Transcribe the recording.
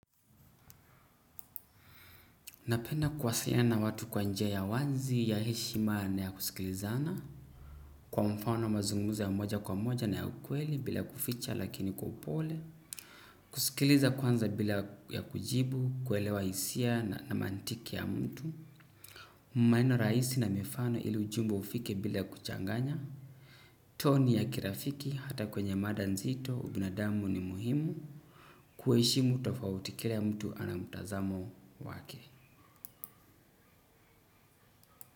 Napenda kuwasaliana watu kwa njia ya wazi, ya heshima na ya kusikilizana. Kwa mfano mazunguza ya moja kwa moja na ya ukweli bila kuficha lakini kwa upole. Kusikiliza kwanza bila ya kujibu kuelewa hisia na mantiki ya mtu. Maneno rahisi na mifano ili ujumbe ufike bila ya kuchanganya. Toni ya kirafiki hata kwenye mada nzito, ubinadamu ni muhimu. Kuheshimu tofauti kila mtu ana mtazamo wake.